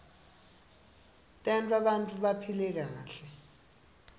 tenta bantfu baphile kahle